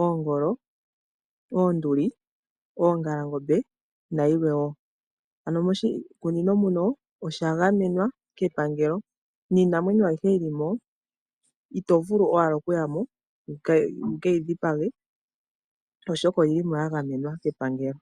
oongolo, oonduli, oongalangombe nayilwe wo. Moshikunino omwa gamenwa kepangelo niinamwenyo ayihe yi li mo ito vulu owala okuya mo wu ke yi dhipage, oshoka oyi li mo ya gamenwa kepangelo.